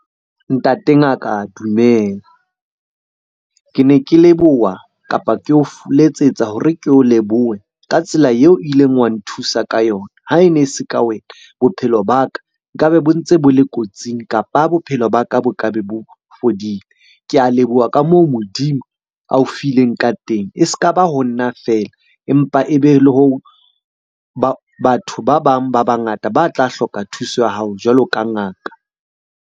Ntate ngaka dumela. Ke ne ke leboha, kapa ke o letsetsa hore ke o lebohe ka tsela eo o ileng wa nthusa ka yona. Ha e ne e se ka wena bophelo nkabe bo ntse bo le kotsing, kapa bophelo ba ka bo ka be bo fedile. Ke a leboha ka moo Modimo ao fileng ka teng. E s'ka ba ho nna feela, empa le ho batho ba bang ba bangata ba tla hloka thuso ya hao jwalo ka ngaka.